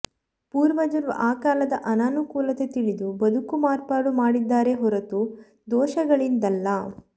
ಪೂರ್ವಜರು ಆ ಕಾಲದ ಅನಾನುಕೂಲತೆ ತಿಳಿದು ಬದುಕು ಮಾರ್ಪಡು ಮಾಡಿದ್ದರೇ ಹೊರತು ದೋಷಗಳಿಂದಲ್ಲ